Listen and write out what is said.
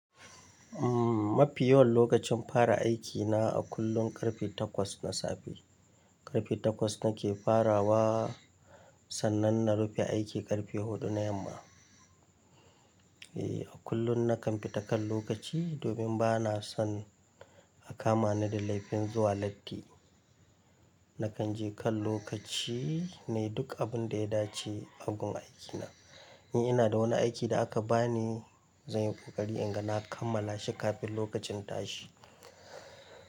Umm, mafi yawan lokacin fara aikina a kullum karfe takwas na safe. Karfe takwas nake farawa, sannan na rufe aiki karfe huɗu na yamma. E, a kullum na kan fita kan lokaci domin ba na son. A kama ni da laifin zuwa latti. Na kan je kan lokaci ne, duk abin da ya dace a gun aiki na. In ina da wani aiki da aka ba ni, zan yi ƙoƙari in ga na kammala shi kafin lokacin tashi.